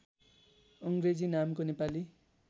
अङ्ग्रेजी नामको नेपाली